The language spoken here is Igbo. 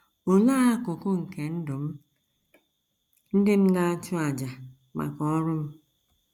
Olee akụkụ nke ndụ m ndị m na - achụ n’àjà maka ọrụ m?